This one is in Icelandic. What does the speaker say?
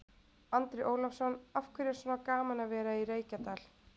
Andri Ólafsson: Af hverju er svona gaman að vera í Reykjadal?